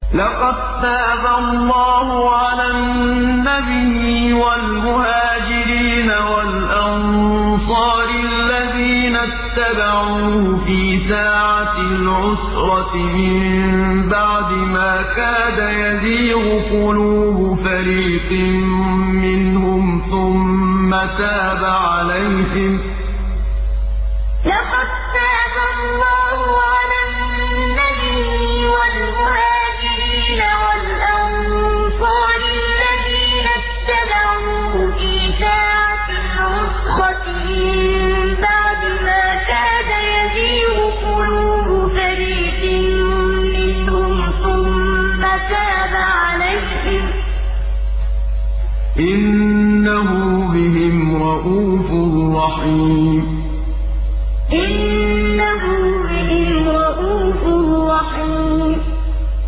لَّقَد تَّابَ اللَّهُ عَلَى النَّبِيِّ وَالْمُهَاجِرِينَ وَالْأَنصَارِ الَّذِينَ اتَّبَعُوهُ فِي سَاعَةِ الْعُسْرَةِ مِن بَعْدِ مَا كَادَ يَزِيغُ قُلُوبُ فَرِيقٍ مِّنْهُمْ ثُمَّ تَابَ عَلَيْهِمْ ۚ إِنَّهُ بِهِمْ رَءُوفٌ رَّحِيمٌ لَّقَد تَّابَ اللَّهُ عَلَى النَّبِيِّ وَالْمُهَاجِرِينَ وَالْأَنصَارِ الَّذِينَ اتَّبَعُوهُ فِي سَاعَةِ الْعُسْرَةِ مِن بَعْدِ مَا كَادَ يَزِيغُ قُلُوبُ فَرِيقٍ مِّنْهُمْ ثُمَّ تَابَ عَلَيْهِمْ ۚ إِنَّهُ بِهِمْ رَءُوفٌ رَّحِيمٌ